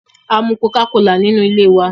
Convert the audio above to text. Amu coca-cola nínú ilé wa.